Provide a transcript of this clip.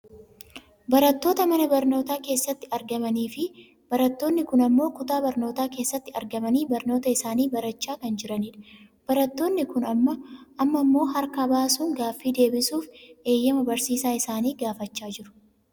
Barattoota mana barnootaa keessatti argamanii fi barattoonni kun ammoo kutaa barnootaa keessatti argamanii barnoota isaanii barachaa kan jiranidha. Barattoonni kun amma ammoo harka baasuun gaaffii deebisuuf eeyyama barsiisaa isaanii gaafachaa jiru.